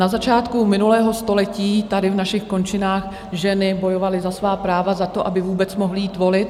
Na začátku minulého století tady v našich končinách ženy bojovaly za svá práva, za to, aby vůbec mohly jít volit.